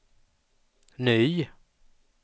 ny